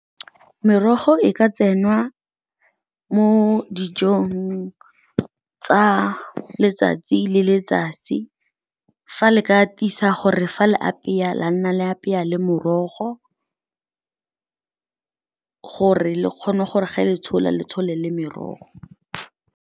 Merogo e ka tsenngwa mo dijong tsa letsatsi le letsatsi. Fa le ka tisa gore fa le apeya, la nna le apeya le morogo, gore le kgone gore ge le tshola, le tshole le merogo.